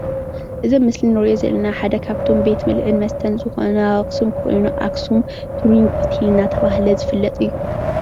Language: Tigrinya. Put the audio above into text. እዚ ምስሊ እንሪኦ ዘለና ሓደ ካብቶም ቤት ብልዕን መስተን ዝኮነ ኣብ ኣክሱም ኮይኑ ኣክሱም ቱሩጊ ሆቴል እናተባሃለ ዝፍለጥ እዩ፡፡